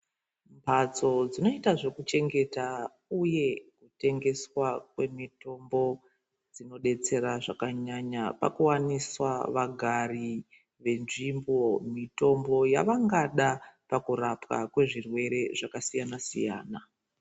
Mbatso dzinoitwa zvekuchengetwa uye kutengeswa kwemitombo dzinodetsera zvakanyanya pakuwaniswa vagari venzvimbo mitombo yavangada kurapwa kwezvirwere zvakasiyana siyana.